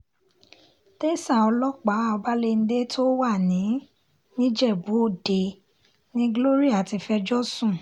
tẹsán ọlọ́pàá ọbalẹ́ńdẹ́ tó wà ní nìjẹ́bú-ọdẹ ni gloria ti fẹjọ́ sùn